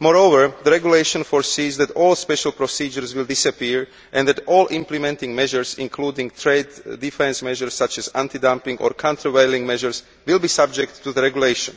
Moreover, the regulation provides that all special procedures will disappear and that all implementing measures including those on trade various measures such as anti dumping or countervailing measures will be subject to the regulation.